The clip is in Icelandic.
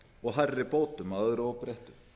og hærri bótum að öðru óbreyttu